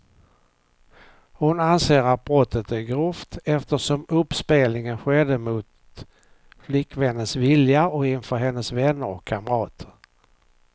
Hon anser att brottet är grovt, eftersom uppspelningen skedde mot flickvännens vilja och inför hennes vänner och kamrater.